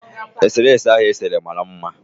Eserese ahụ o sere mara mma